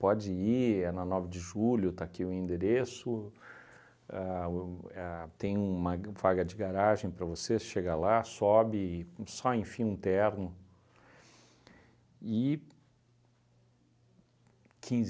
Pode ir, é na nove de julho, está aqui o endereço, a o a tem uma ga uma vaga de garagem para você chegar lá, sobe, só enfia um terno. E